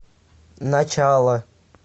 начало